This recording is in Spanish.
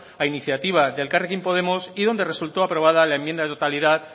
a iniciativa de elkarrekin podemos y donde resultó aprobada la enmienda de totalidad